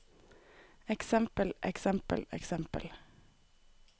eksempel eksempel eksempel